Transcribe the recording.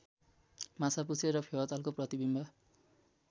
माछापु्च्छ्रे र फेवातालको प्रतिविम्ब